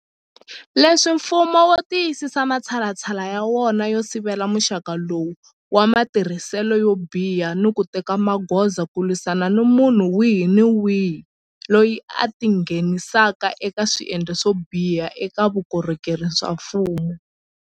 Sweswi mfumo wu tiyisisa matshalatshala ya wona yo sivela muxaka lowu wa matirhiselo yo biha ni ku teka magoza ku lwisana ni munhu wihi ni wihi loyi a tingheni saka eka swendlo swo biha eka vukorhokeri bya mfumo.